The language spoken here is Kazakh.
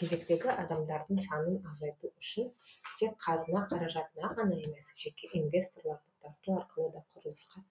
кезектегі адамдардың санын азайту үшін тек қазына қаражатына ғана емес жеке инвесторларды тарту арқылы да құрылысқа